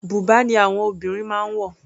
Bùbá ni àwọn obìnrin máa ń wọ̀.